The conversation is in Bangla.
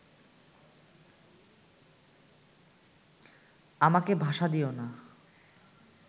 আমাকে ভাষা দিয়ো না